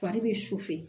Fari bɛ su fɛ